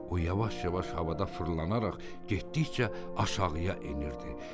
O yavaş-yavaş havada fırlanaraq getdikcə aşağıya enirdi.